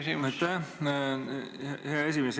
Aitäh, hea esimees!